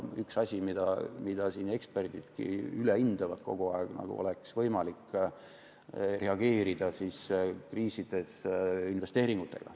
Üks asju, mida eksperdidki kogu aeg üle hindavad, on see, nagu oleks võimalik reageerida kriisidele investeeringutega.